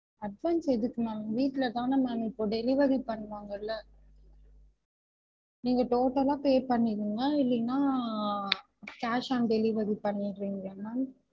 Advance எதுக்கு ma'am வீட்டுலதான ma'am இப்ப delivery பண்ணுவாங்கல்ல நீங்க total லா pay பண்ணிருங்க இல்லனா ஆஹ் cash on delivery பண்ணிட்றீங்களா ma'am